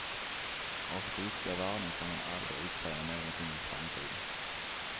Av friska värden kan man aldrig utsäga någonting om framtiden.